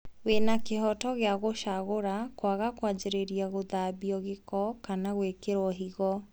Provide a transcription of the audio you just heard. Wĩna kĩhoto gĩa gũcagũra kwaga kwanjĩrĩria gũthambio gĩko kana gwĩkĩrwo higo